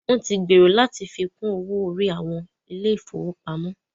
Wọn tí ń gbèrò láti fi kún owó orí àwọn ilé ìfọwọ́pamo.